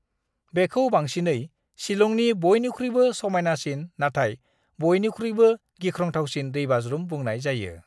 बेखौ बांसिनै शिलंनि बयनिख्रुइबो समायनासिन नाथाय बयनिख्रुइबो गिख्रंथावसिन दैबाज्रुम बुंनाय जायो।